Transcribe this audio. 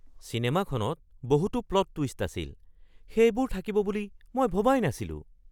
চিনেমাখনত বহুতো plot twist আছিল! সেইবোৰ থাকিব বুলি মই ভবাই নাছিলো।